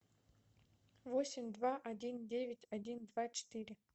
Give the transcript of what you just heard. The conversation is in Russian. восемь два один девять один два четыре